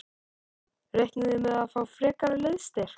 Reiknið þið með að fá frekari liðsstyrk?